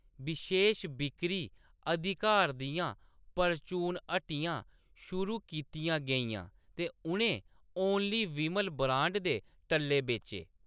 बशेश बिक्करी अधिकार दियां परचून हट्टियां शुरू कीतियां गेइयां ते उʼनें "ओनली विमल" ब्रांड दे टल्ले बेचे।